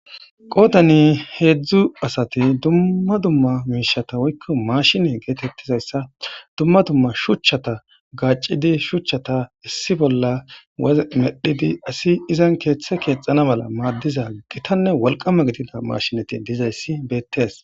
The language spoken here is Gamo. qootani heedzdzu asati dumma dumma miishata woykko mashine geetettizayssa dumma dumma shuchchata gaaccidi shuchchata issi bolla amedhidi asi izan keeththe keexana mala maaddiza gitanne walqama gidina mashinati dizayssi beettees